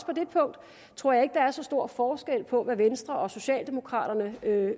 på det punkt tror jeg der er så stor forskel på hvad venstre og socialdemokraterne